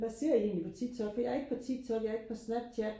hvad ser I egentlig på TikTok for jeg er ikke på TikTok jeg er ikke på Snapchat